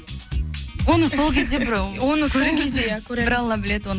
оны сол кезде бір ііі оны сол кезде бір алла біледі оны